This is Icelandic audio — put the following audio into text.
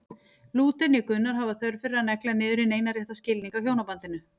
Lúther né Gunnar hafa þörf fyrir að negla niður hinn eina rétta skilning á hjónabandinu.